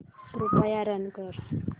कृपया रन कर